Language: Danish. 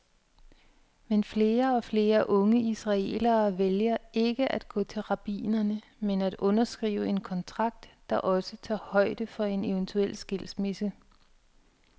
Men flere og flere unge israelere vælger ikke at gå til rabbinerne, men at underskrive en kontrakt, der også tager højde for en eventuel skilsmisse.